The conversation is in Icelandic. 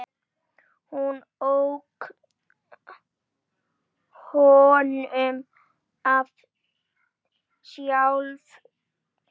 Hún ók honum sjálf.